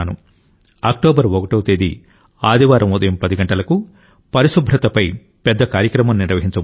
October 1వ తేదీ ఆదివారం ఉదయం 10 గంటలకు పరిశుభ్రతపై పెద్ద కార్యక్రమం నిర్వహించబోతున్నాను